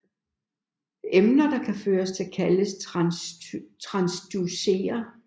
Emner der kan gøre det kaldes transducere